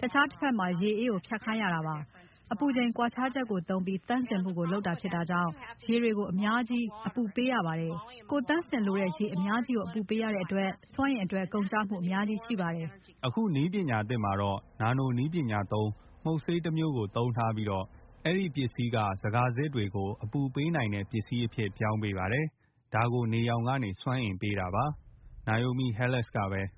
တခြားတစ်ဘက်မှာ ရေအေးကို ဖြတ်ခိုင်းရတာပါ။ အပူချိန် ကွာခြားချက်ကို သုံးပြီး သန့်စင်မှုကိုလုပ်တာဖြစ်တာကြောင့် ရေတွေ ကို အပူအများကြီး ပေးရပါတယ်။ ကိုယ့်သန့်စင်လိုတဲ့ ရေ အများကြီးကို အပူပေးရတဲ့အတွက် စွမ်းအင်အတွက် ကုန်ကျမှု အများကြီး ရှိပါတယ်။” အခု နည်းအသစ်မှာတော့ နာနိုနည်းပညာသုံး မှုတ်ဆေးတမျိုးကို သုံးထားပြီးတော့ အဲ့ဒီ ဟာက ဇကာစစ်တွေကို အပူပေးနိုင်တဲ့ ပစ္စည်းအဖြစ်ပြောင်းပေးပါတယ်။ ဒါကို နေရောင်ခြည် စွမ်းအင်ပေးတာပါ။ Naomi Halas ကပဲ “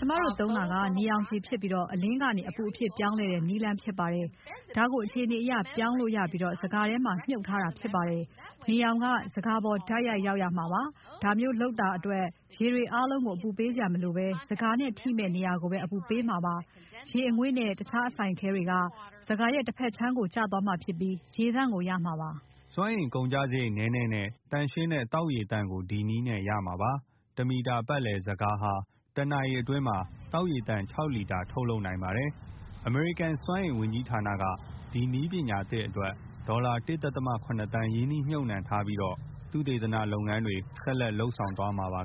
ကျမတို့သုံးတာက နေရာင်ခြည်ဖြစ်ပြီး အလင်းကနေ အပူအဖြစ်ပြောင်းတဲ့ နည်းလမ်းဖြစ်ပါတယ်။ ဒါကို အခြေအနေအရ ပြောင်းလို့ရပြီး ဇကာထဲမှာ မြုပ်ထားတာဖြစ်ပါတယ်။ နေရောင်က ဇကာပေါ် တိုက်ရိုက်ရောက်ရမှာပါ။ ဒါမျိုးလုပ်တာတဲ့အတွက် ရေတွေ အားလုံးကို အပူပေးစရာမလိုပဲ ဇကာစစ်နဲ့ ထိမယ့် နေရာကို ပဲ အပူပေးမှာပါ။ ရေ အငွေ့ နဲ့ တခြားအစိုင်အခဲတွေက ဇကာရဲ့ တစ်ဘက်ခြမ်းကိုကျသွားမှာဖြစ်ပြီး ရေသန့်ကို ရမှာပါ။” စွမ်းအင်ကုန်ကျစရိတ်နည်းနည်း နဲ့ သန့်ရှင်းတဲ့ သောက်ရေသန့်ကို ဒီနည်းနဲ့ ရမှာပါ။ တမီတာ ပတ်လည် ဇကာ ဟာ တနာရီ အတွင်း သောက်ရေသန့် ၆ လီတာ ထုတ်လုပ်နိုင်ပါတယ်။ အမေရိကန် စွမ်းအင်ဝန်ကြီးဌာနက ဒီနည်းပညာသစ်အတွက် ဒေါ်လာ ၁.၇ သန်း ရင်းနှီးမြုပ်နှံထားပြီးတော့ သုတေသန တွေ ဆက်လက်လုပ်ဆောင်သွားမှာပါ